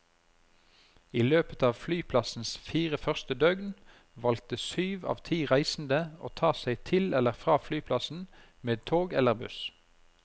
I løpet av flyplassens fire første døgn valgte syv av ti reisende å ta seg til eller fra flyplassen med tog eller buss.